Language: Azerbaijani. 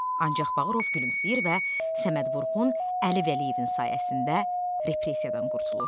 Ancaq Bağırov gülümsəyir və Səməd Vurğun Əli Vəliyevin sayəsində repressiyadan qurtulur.